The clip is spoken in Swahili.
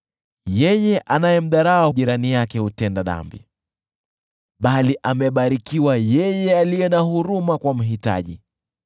Yeye anayemdharau jirani yake hutenda dhambi, bali amebarikiwa yeye aliye na huruma kwa mhitaji.